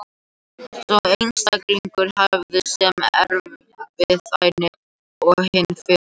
Sá einstaklingur hefur sama erfðaefni og hinn fyrri.